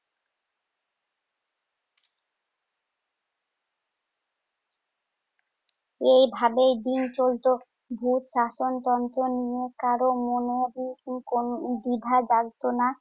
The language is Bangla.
এভাবেই দিন চলতো, ভুত শাসনতন্ত্র নিয়ে কারো মনে কোন দ্বিধা জাগত না?